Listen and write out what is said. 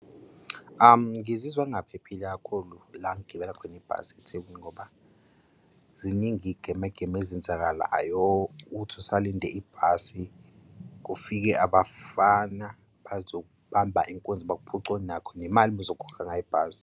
Ngizizwa ngingaphephile kakhulu la engigibela khona ibhasi eThekwini ngoba ziningi iy'gemegeme ezenzakalayo. Uthi usalinde ibhasi kufike abafana bazokubamba inkunzi bakuphuce onakho nemali obuzokhokha ngayo ibhasi.